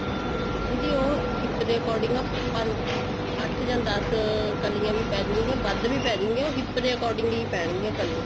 ਦੀਦੀ ਉਹ hip ਦੇ according ਆਪਾਂ ਅੱਠ ਜਾ ਦਸ ਕਲੀਆਂ ਵੀ ਪੈਜੁਗੀਆ ਵੱਧ ਵੀ ਪੈਜੁਗੀਆ ਉਹ hip ਦੇ according ਹੀ ਪੈਣ ਗੀਆਂ ਕਲੀਆਂ